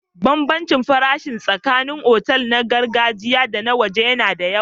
Bambancin farashi tsakanin otal na gargajiya da na waje yana da yawa.